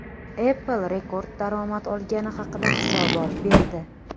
Apple rekord daromad olgani haqida hisobot berdi.